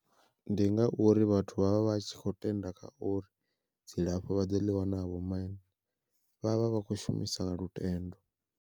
Ndi ngauri vhathu vha vha vha tshi kho tenda kha uri, dzilafho vha ḓo ḽi wana ha vho maine vhavha vha khou shumisa lutendo.